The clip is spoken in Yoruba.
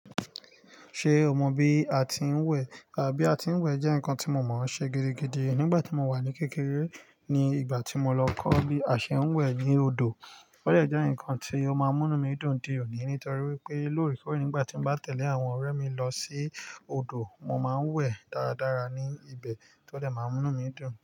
Ṣé o mọ bí a ti ń wẹ̀? Àbí a ti ń wẹ̀ jẹ́ nǹkan tí mo mọ̀ ọ́n ṣe gidigidi nígbà tí mo wà ní kékeré ní ìgbà tí mo lọ kọ́ bí a ṣe ń wẹ̀ ní odò. Ó dẹ̀ jẹ́ nǹkan tí ó máa ń mú mí dùn di òní torí wípé lóòrèkóòrè nígbà tí mo bá tẹ̀lé àwọn ọ̀rẹ́ mi lọ sí odò, mo máa ń wẹ̀ dáradára ní ibẹ̀, tó dẹ̀ máa ń múnú mí dùn.